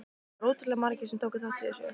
Það voru ótrúlega margir sem tóku þátt í þessu.